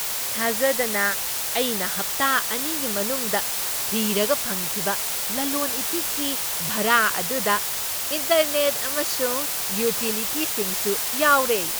ꯊꯥꯖꯗꯅ, ꯑꯩꯅ ꯍꯞꯇ ꯑꯅꯤꯒꯤ ꯃꯅꯨꯡꯗ ꯊꯤꯔꯒ ꯐꯪꯈꯤꯕ ꯂꯂꯣꯟ ꯏꯇꯤꯛꯀꯤ ꯚꯥꯔꯥ ꯑꯗꯨꯗ ꯏꯟꯇꯔꯅꯦꯠ ꯑꯃꯁꯨꯡ ꯌꯨꯇꯤꯂꯤꯇꯤꯁꯤꯡꯁꯨ ꯌꯥꯎꯔꯦ꯫